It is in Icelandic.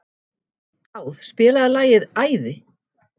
Dáð, spilaðu lagið „Æði“.